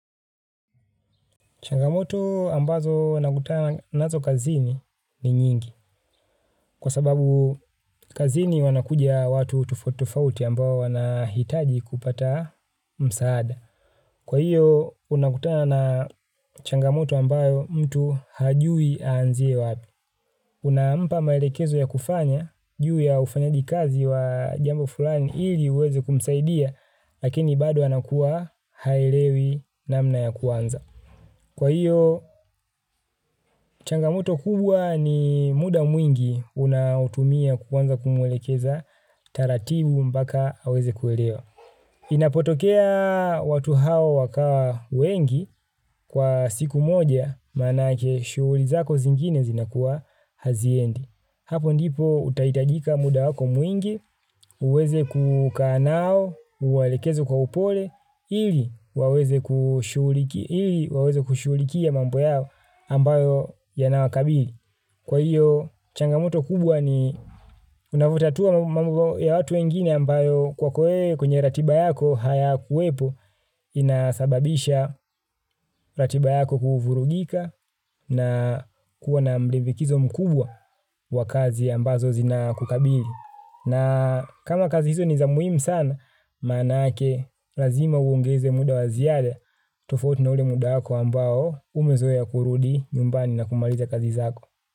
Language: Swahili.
Changamoto ambazo nakutana nazo kazini ni nyingi. Kwa sababu kazini wanakuja watu tufotofauti ambao wanahitaji kupata msaada. Kwa hiyo, unakutana na changamoto ambayo mtu hajui anziye wabi. Unaampa maelekezo ya kufanya, juu ya ufanyaji kazi wa jambo fulani hili uweze kumsaidia, lakini bado anakuwa hailewi namna ya kuanza. Kwa hiyo, changamoto kubwa ni muda mwingi unautumia kuanza kumuwelekeza, taratibu mbaka haweze kuwelewa. Inapotokea watu hawa wakawa wengi kwa siku moja, manake shuulizako zingine zinakuwa haziendi. Hapo ndipo utahitajika muda wako mwingi, uweze kukanao, uwalekezo kwa upole, ili waweze kushulikia mambo yao ambayo yanawakabili. Kwa hiyo changamoto kubwa ni unavutatua ya watu wengine ambayo kwa ko we kwenye ratiba yako hayakuwepo inasababisha ratiba yako kuvurugika na kuwa na mdivikizo mkubwa wa kazi ambazo zina kukabili. Na kama kazi hizo ni za muhimu sana, maanake lazima uongeze muda wa ziada tofauti na ule muda wako ambao umezoea kurudi nyumbani na kumaliza kazi zako.